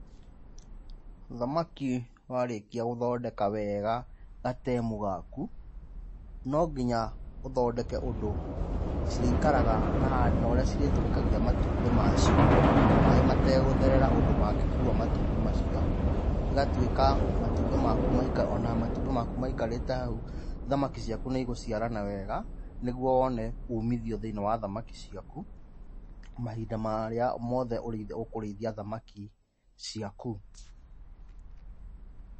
Thamaki warĩkia gũthondeka weega gatemu gaku, no nginya ũthondeke ũndũ cirĩikaraga na na ũrĩa cirĩtũrĩkagia matumbĩ macio, maĩ mategũtherera ũndũ mangĩkua matumbĩ macio. Ĩgatuĩka matumbĩ maku maika ona matumbĩ maku maikarĩte hau, thamaki ciaku nĩigũciarana wega, nĩguo wone umithio thĩiniĩ wa thamaki ciaku, mahinda marĩa mothe ũkũrĩithia thamaki ciaku.